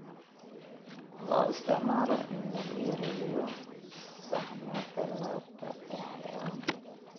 Loo isticmaalo in lagu yareeyo saxmada laabta ee xayawaanka.